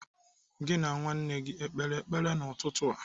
Gị na nwa nna gị o kpere ekpere n'ụtụtụ a?